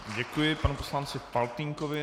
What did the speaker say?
Děkuji panu poslanci Faltýnkovi.